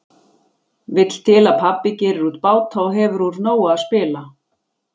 Vill til að pabbi gerir út báta og hefur úr nógu að spila.